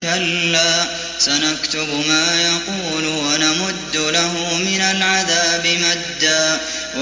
كَلَّا ۚ سَنَكْتُبُ مَا يَقُولُ وَنَمُدُّ لَهُ مِنَ الْعَذَابِ مَدًّا